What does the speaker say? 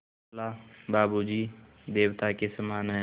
बोला बाबू जी देवता के समान हैं